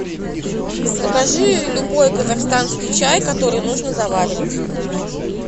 закажи любой казахстанский чай который нужно заваривать